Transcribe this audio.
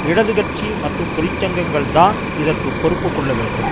இடது கட்சி மற்றும் தொழிற்சங்கங்கள் தான் இதற்கு பொறுப்பு கொள்ள வேண்டும்